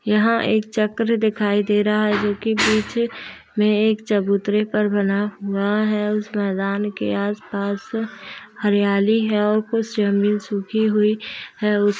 यहाँ एक चक्र दिखाई दे रहा है जोकि पीछे में एक चबूतरे पर बना हुआ है। उस मैदान के आस-पास हरियाली है और कुछ जमीन सूखी हुई है। उस --